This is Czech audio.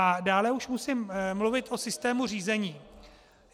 A dále už musím mluvit o systému řízení.